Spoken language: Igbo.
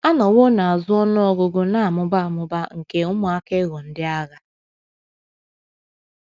A nọwo na - azụ ọnụ ọgụgụ na - amụba amụba nke ụmụaka ịghọ ndị agha.